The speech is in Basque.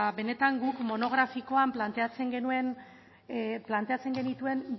benetan guk monografikoan planteatzen genituen